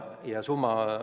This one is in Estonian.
Kohe lõpetan.